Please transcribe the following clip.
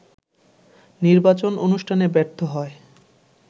নির্বাচন অনুষ্ঠানে ব্যর্থ হয়